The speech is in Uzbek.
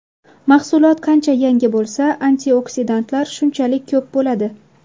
Mahsulot qancha yangi bo‘lsa, antioksidantlar shunchalik ko‘p bo‘ladi.